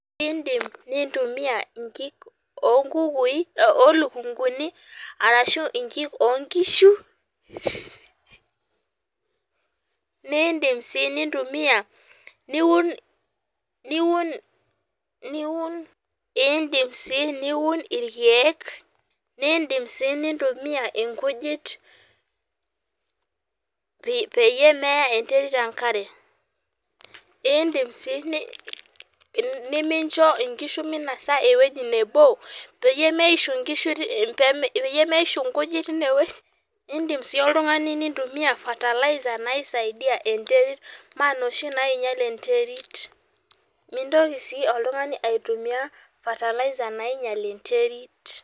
Indim nintumia inkik onkukui olukunguni ashu inkik onkishu , naa indim sii nintumia niun , niun ,indim sii niun irkiek , nindim sii nitntumia inkujit peyie meya enterit enkare , indim sii nimincho inkishu minosa ewueji nebo peyie meishu inkujit tine wueji , indim sii oltungani nintumia fertilizer naisadia enterit maa inoshi nainyial enterit , mintoki oltungani aitumia fertilzer nainyial enterit.